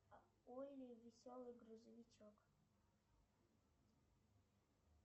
олли веселый грузовичок